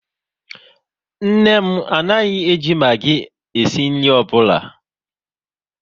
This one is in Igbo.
Nne m anaghị e ji Magi esi nri ọbụla